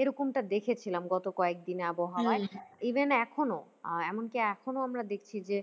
এরকমটা দেখেছিলাম গত কয়েকদিনে আবহাওয়াই even এখনো আহ এমনকি এখনো আমরা দেখছি যে